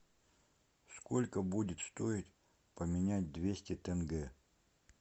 сколько будет стоить поменять двести тенге